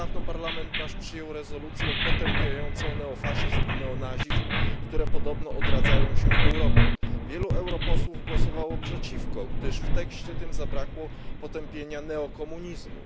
Nie tak dawno Parlament przyjął rezolucję potępiającą neofaszyzm i neonazizm, które podobno odradzają się w Europie. Wielu europosłów głosowało przeciwko, gdyż w tekście tym zabrakło potępienia neokomunizmu.